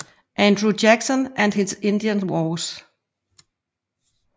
Andrew Jackson and his Indian Wars